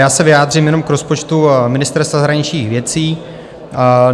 Já se vyjádřím jenom k rozpočtu Ministerstva zahraničních věcí.